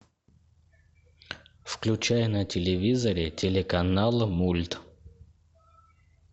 включай на телевизоре телеканал мульт